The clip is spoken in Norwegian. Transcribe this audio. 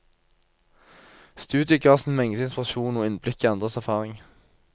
Studiet ga oss en mengde inspirasjon og innblikk i andres erfaring.